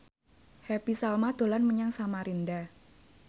Happy Salma dolan menyang Samarinda